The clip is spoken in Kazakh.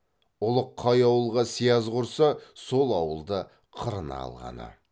ұлық қай ауылға сияз құрса сол ауылды қырына алғаны